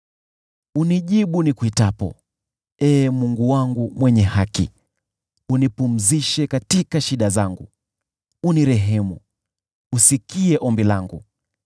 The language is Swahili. Nijibu nikuitapo, Ee Mungu wangu mwenye haki! Nipumzishe katika shida zangu; nirehemu, usikie ombi langu.